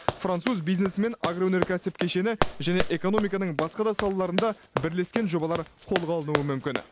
француз бизнесімен агроөнеркәсіп кешені және экономиканың басқа да салаларында бірлескен жобалар қолға алынуы мүмкін